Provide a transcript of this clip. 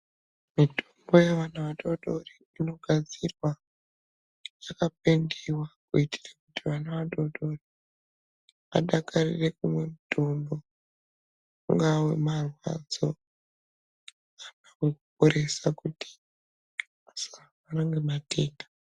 Mitombo yevana vadodori, inogadzirwa yakapendiwa kuitire kuti vana vadodori adakarire kumwe mutombo, ungaa wemarwadzo kana kuporesa kuti asarwara ngematenda.